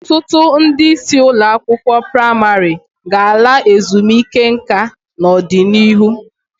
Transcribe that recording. Ọtụtụ ndị isi ụlọakwụkwọ praịmarị ga-ala ezumike nka n'ọdịnihu.